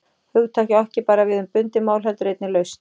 Hugtakið á ekki bara við um bundið mál heldur einnig laust.